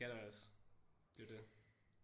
Det skal der også. Det er jo det